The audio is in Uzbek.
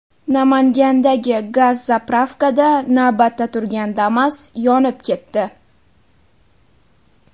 Namangandagi gaz-zapravkada navbatda turgan Damas yonib ketdi.